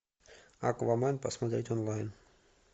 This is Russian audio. аквамен посмотреть онлайн